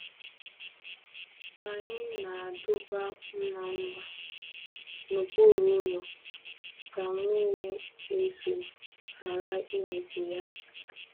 Anyị na-adọba mma mma n’okpuru ụlọ ka mmiri ezo ghara imikpu ha.